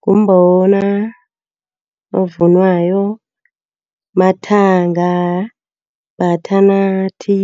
Ngumbona ovunwayo, amathanga, bhathanathi,